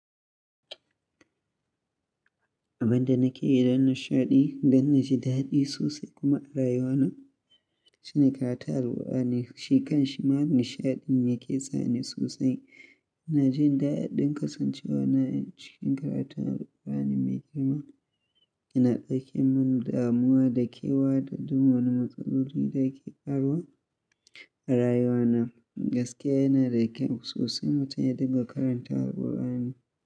Abin da nake yi don nishaɗi, don na ji daɗi sosai kuma rayuwana shine karanta Alqur'ani. Shi kan shima nishaɗin yake sa ni sosai. Ina jin daɗin kasancewa na cikin karatu na Alqur'ani mai girma. Yana ɗauke mini damuwa da kewa da duk wani matsaloli da ke faruwa a rayuwana. Gaskiya yana da kyau sosai mutum ya dinga karanta Alqur'ani.